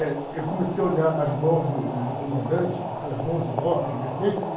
Eh, eu comecei a olhar as mãos do do do comandante, aquelas mãos enormes, vermelhas.